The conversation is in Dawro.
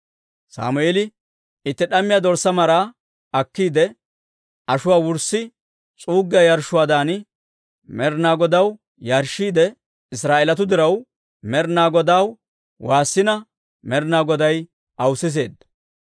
Sammeeli itti d'ammiyaa dorssaa maraa akkiide, ashuwaa wurssi s'uuggiyaa yarshshuwaadan Med'inaa Godaw yarshshiide Israa'eelatuu diraw Med'inaa Godaw woossina Med'inaa Goday aw siseedda.